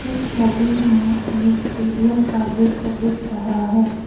छवि में एक स्टेडियम का दृश्य दिख रहा है।